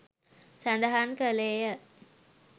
සඳහන් කළේය.